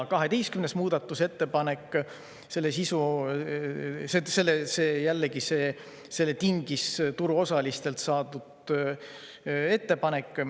12. muudatusettepaneku tingis jällegi turuosalistelt saadud ettepanek.